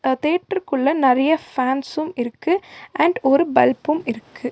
அ தியேட்ருகுள்ள நறைய ஃபேன்ஸும் இருக்கு அண்ட் ஒரு பல்பும் இருக்கு.